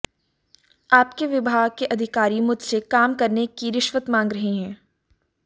आपके विभाग के अधिकारी मुझसे काम करने की रिश्वत मांग रहे हैं